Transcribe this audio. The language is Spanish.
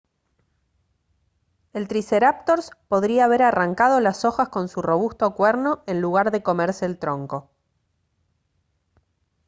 el triceráptors podría haber arrancado las hojas con su robusto cuerno en lugar de comerse el tronco